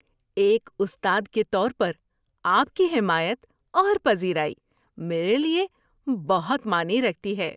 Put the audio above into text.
ایک استاد کے طور پر آپ کی حمایت اور پذیرائی میرے لیے بہت معنی رکھتی ہیں۔